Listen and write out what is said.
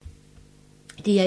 DR1